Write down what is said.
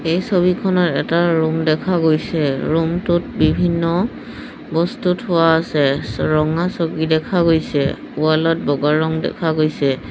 এই ছবিখনত এটা ৰুম দেখা গৈছে ৰুমটোত বিভিন্ন বস্তু থোৱা আছে চ ৰঙা চকী দেখা গৈছে ৱালত বগা ৰঙ দেখা গৈছে।